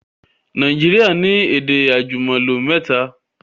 Naijiria ni èdè àjùmọ̀lò mẹ́ta